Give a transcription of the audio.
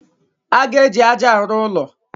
A ga-eji aja arụ ụlọ.